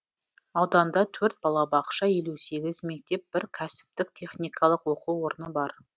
ауданда төрт балабақша елу сегіз мектеп бір кәсіптік техникалық оқу орны бар